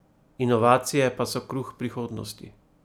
Inovacije pa so kruh prihodnosti.